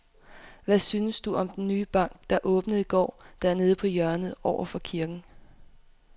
Hvad synes du om den nye bank, der åbnede i går dernede på hjørnet over for kirken?